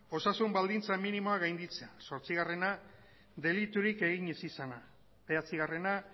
osasun baldintza minimoak gainditzea zortzigarrena deliturik egin ez izana bederatzigarrena